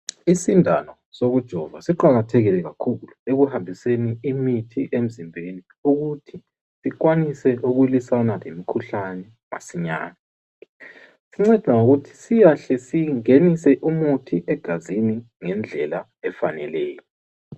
Isindano sokujova siqakathekile kakhulu ekuhambiseni imithi emzimbeni ukuthi sikwanise ukulwisana lemikhuhlane masinyane. Sinceda ngokuthi siyahle singenise umuthi egazini ngendlela efaneleyo.